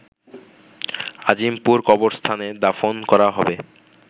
আজিমপুর কবরস্থানে দাফন করা হবে